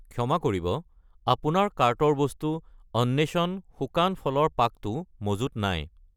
ক্ষমা কৰিব, আপোনাৰ কাৰ্টৰ বস্তু অন্বেষণ শুকান ফলৰ পাক টো মজুত নাই